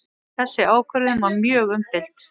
Þessi ákvörðun var mjög umdeild